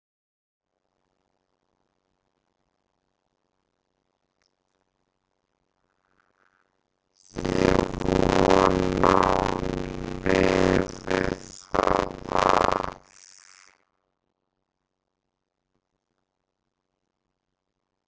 Ég vona að hún lifi það af